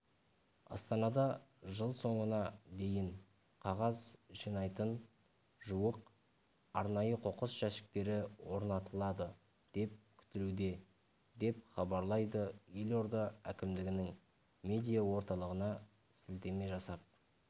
астанада жыл соңына дейін қағаз жинайтын жуық арнайы қоқыс жәшіктері орнатыладыдеп күтілуде депхабарлайды елорда әкімдігінің медиа орталығына сілтеме жасап